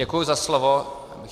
Děkuji za slovo.